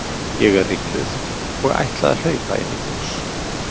Ég er ringluð og ætla að hlaupa inn í hús.